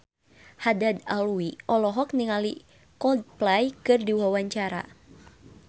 Haddad Alwi olohok ningali Coldplay keur diwawancara